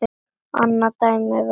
annað dæmi væri